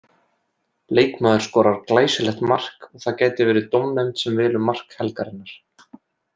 Leikmaður skorar glæsilegt mark og það gæti verið dómnefnd sem velur mark helgarinnar.